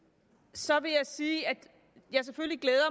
så vil jeg sige at jeg selvfølgelig glæder